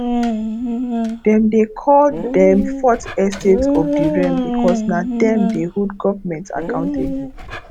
dem dey call them fourth estate of the realm because na them dey hold government accountable